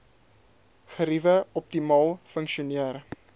geriewe optimaal funksioneer